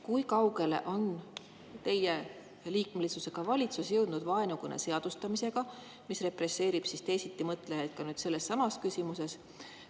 Kui kaugele on valitsus, mille liige te olete, jõudnud vaenukõne seadustamisega, mis represseerib teisitimõtlejaid ka selles küsimuses?